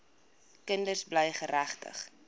kinders bly geregtig